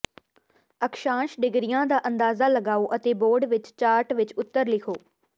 ਅਕਸ਼ਾਂਸ਼ ਡਿਗਰੀਆਂ ਦਾ ਅੰਦਾਜ਼ਾ ਲਗਾਓ ਅਤੇ ਬੋਰਡ ਵਿੱਚ ਚਾਰਟ ਵਿੱਚ ਉੱਤਰ ਲਿਖੋ